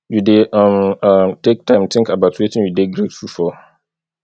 you dey um um take time think about wetin you dey grateful for